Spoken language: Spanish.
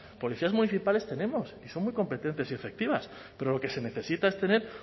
policías municipales tenemos y son muy competentes y efectivas pero lo que se necesita es tener